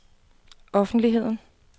offentligheden